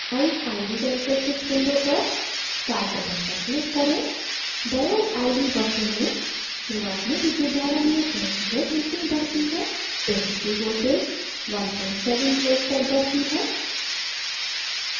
eyes: iv characteristics window पर start button पर click करें diode iv वक्र में शुरुआत में विद्युत धारा नियत रहती है लेकिन बढ़ती है जैसे ही वोल्टेज 17 volts तक बढ़ती है